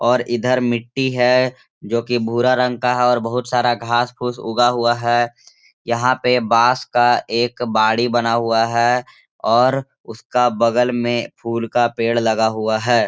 और इधर मिट्टी है जोकि भूरा रंग का है बहुत सारा घास-फूस उगा हुआ है यहाँ पे बांस का एक बाड़ी बना हुआ है और उसका बगल में फूल का पेड़ लगा हुआ है।